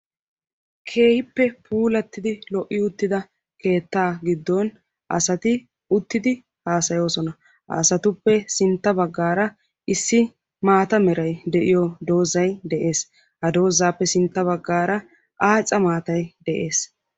Keehippe puulattidi lo"i uttida keetta giddon asati uttidi haasayoosona. Ha asatuppe sintta baggaara issi maata meray de'iyo doozay de'ees. Ha doozaappe sintta baggaara aaca maatay de'ees.